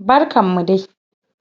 Barkan mu dai!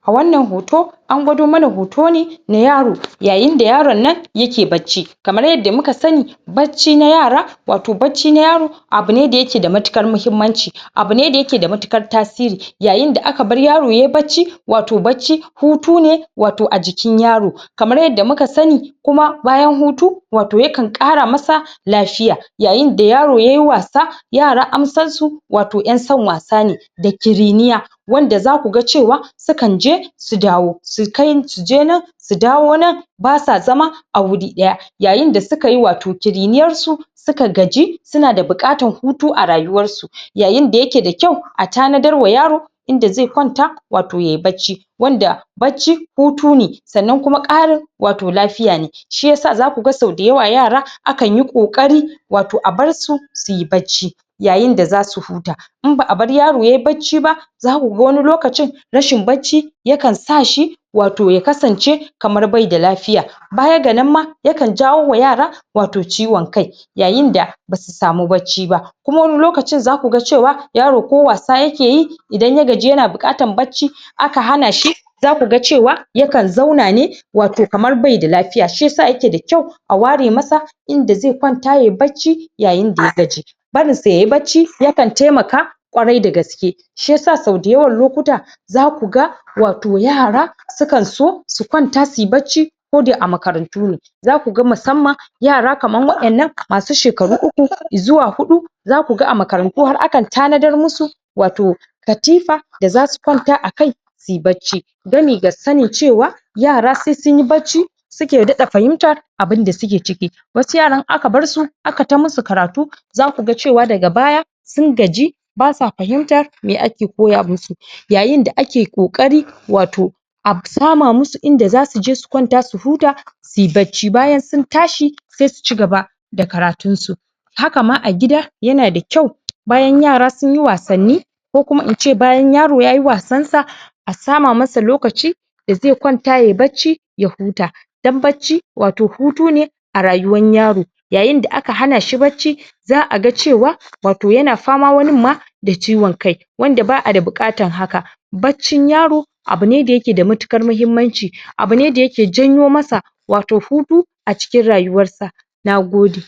A wannan hoto, an gwado mana hoto ne na yaro, yayin da yaron nan ya ke bacci. Kamar yadda muka sani bacci na yara, wato bacci na yaro abu ne da ya ke da matuƙar muhimmanci, abu ne da ya ke da matuƙar tasiri. Yayin da ka bar yaro yayi bacci wato bacci hutu ne wato a jikin yaro. Kamar yadda muka sani kuma bayan hutu wato yakan ƙara masa lafiya. Yayin da yaro yayi wasa, yara an san su wato ƴan san wasa ne da ƙiriniya. Wanda za ku ga cewa sukan je su dawo. Su kai suje nan su dawo nan, na sa zama a wuri ɗaya. Yayin da wato suka yi ƙiriniyarsu suka gaji su na da buƙatam hutu a rayuwar su. Yayin da ya ke da kyau a tanadarwa yaro inda zai kwanta wato yayi bacci, wanda bacci hutu ne. Sannan kuma ƙarin wato lafiya ne. Shi yasa za ku ga sau da yawa yara akan yi ƙoƙari wato a barsu suyi bacci. Yayin da za su huta in ba'a bar yaro yayi bacci ba za ku ga wani lokacin rashin baci yakan sa shi wato ya kasance kamar bai da lafiya. Baya ga nan ma yakan jawo ma yara wato ciwon kai, yayin da basu samu bacci ba. Kuma wani lokacin za ku ga cewa yaro ko wasa ya ke yi idan ya gaji ya na buƙatan bacci aka hana shi za ka ga cewa yakan zauna ne wato kamar bai da lafiya, shi ya sa ya ke da kyau a ware masa inda zai kwanta yayi bacci yayin da ya gaji barin sa yayi bacci yakan taimaka ƙwarai da gaske. Shi yas sau da yawan lokuta za ku ga wato yara sukan so su kwanta suyi bacci koda a makarantu ne. Za ku ga musamman yara kaman waƴannan masu shekaru uku zuwa huɗu za ku ga a makarantu har akan tanadar musu wato katifa da za su kwanta akai suyi bacci. Gami ga sani cewa yara sai sunyi bacci suke daɗa fahimtar abunda suke ciki wasu yaran in aka bar su, aka ta musu karatu za ka ga cewa daga baya sun gaji basa fahimtar me ake koya musu. Yayin da ake ƙoƙarin wato a sama musu inda za su je su kwanta su huta suyi bacci bayan su tashi sai suci gaba da karatun su. Haka ma a gida ya na da kyau, bayan yara sun yi wasanni ko kuma ince bayan yaro yayi wasan sa, a sama masa lokaci da zai kwanta yayi bacci ya huta, don bacci wato hutu ne a rayuwan yaro. Yayin da aka hana shi bacci za'a ga cewa wato ya na fama wanin ma da ciwon kai. Wanda ba'a da buƙatan haka. Baccin yaro, abu ne da ya ke da matuƙar mahimmanci, abu ne da ya ke janyo masa wato hutu a cikin rayuwar sa. Nagode!